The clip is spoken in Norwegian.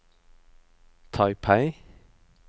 Taipei